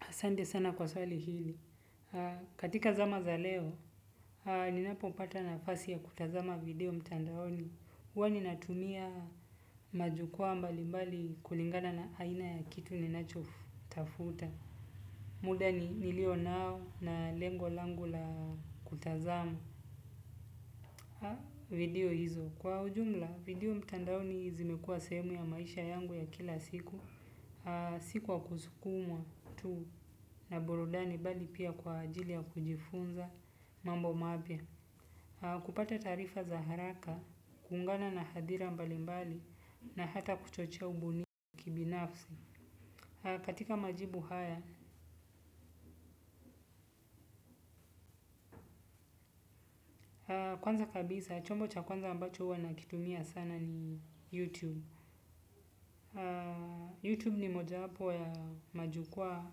Asante sana kwa swali hili. Katika zama za leo, ninapopata nafasi ya kutazama video mtandaoni. Huwa ninatumia majukwaa mbalimbali kulingana na aina ya kitu ninachotafuta. Muda ni niliyonao na lengo langu la kutazama video hizo. Kwa ujumla, video mtandaoni zimekua sehemu ya maisha yangu ya kila siku. Si kwa kusukumwa tu na burudani bali pia kwa ajili ya kujifunza mambo mapya. Kupata taarifa za haraka, kuungana na hadhira mbalimbali na hata kuchochea ubunifu kibinafsi. Katika majibu haya, kwanza kabisa, chombo cha kwanza ambacho huwa nakitumia sana ni YouTube YouTube ni mojawapo ya majukwaa